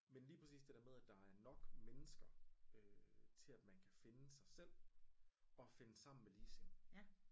Men lige præcis det der med at der er nok mennesker øh til at man kan finde sig selv og finde sammen med ligesindede